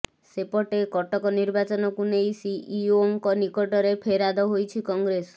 ସେପଟେ କଟକ ନିର୍ବାଚନକୁ ନେଇ ସିଇଓଙ୍କ ନିକଟରେ ଫେରାଦ ହୋଇଛି କଂଗ୍ରେସ